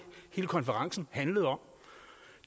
hele konferencen handlede om